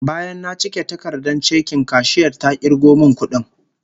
Bayan na cike takardar chekin, kashiyar ta kirgo min kudin